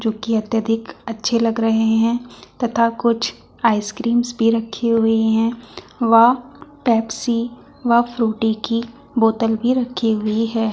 जो कि अत्यधिक अच्छे लग रहे हैं तथा कुछ आइसक्रीम्स भी रखी हुई हैं व पेप्सी व फ्रूटी की बोतल भी रखी हुई है।